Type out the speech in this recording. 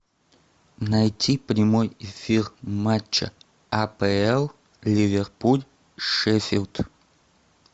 найти прямой эфир матча апл ливерпуль шеффилд